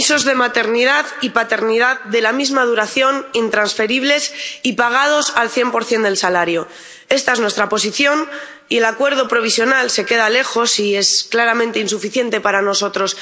Señora presidenta, permisos de maternidad y paternidad de la misma duración, intransferibles y pagados al 100 del salario. Esta es nuestra posición, y el acuerdo provisional se queda lejos y es claramente insuficiente para nosotros.